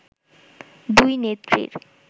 “দুই নেত্রীর